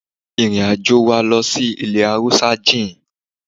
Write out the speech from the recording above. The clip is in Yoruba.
Ìrìn àjò wa lọ sí ilẹ̀ Haúsá jìn.